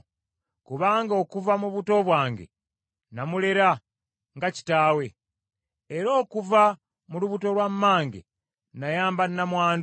kubanga okuva mu buto bwange namulera nga kitaawe, era okuva mu lubuto lwa mmange nayamba nnamwandu.